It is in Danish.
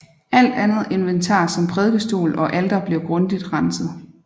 Alt andet inventar som prædikestol og alter blev grundigt renset